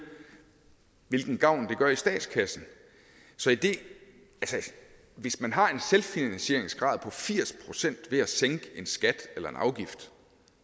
hvilken gavn det gør i statskassen så hvis man har en selvfinansieringsgrad på firs procent ved at sænke en skat eller en afgift